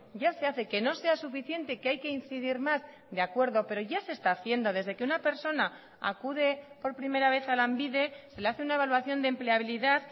ya se hace que no sea suficiente que hay que incidir más de acuerdo pero ya se está haciendo desde que una persona acude por primera vez a lanbide se le hace una evaluación de empleabilidad